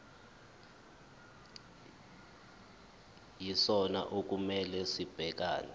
yisona okumele sibhekane